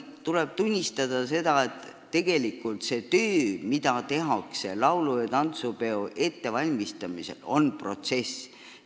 Tuleb tunnistada, et tegelikult on töö, mida tehakse laulu- ja tantsupeo ettevalmistamisel, pikk protsess.